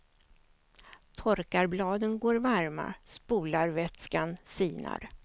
Torkarbladen går varma, spolarvätskan sinar.